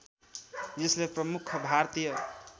यसले प्रमुख भारतीय